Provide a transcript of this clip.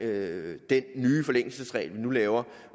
med den nye forlængelsesregel vi nu laver